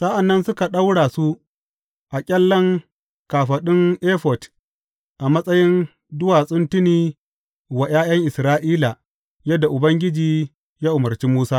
Sa’an nan suka ɗaura su a ƙyallen kafaɗun efod a matsayin duwatsun tuni wa ’ya’yan Isra’ila, yadda Ubangiji ya umarci Musa.